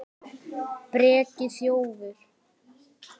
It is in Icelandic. Breki: Þjófur?